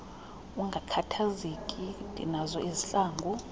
ungakhathazeki ndinazo izihlangu